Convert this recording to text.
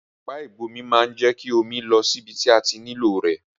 Àwon ọ̀pá ìgbómi ma n je ki omi lọ síbi ti a ti nílò rẹ̀